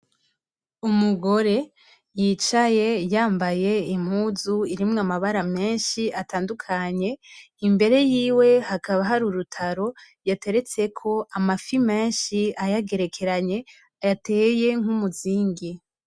Umugore yicaye yambaye impuzu irimwo amabara menshi atandukanye imbere yiwe hakaba hari urutaro yateretseko amafi menshi ayagerekeranye yateye nk'umuzingi.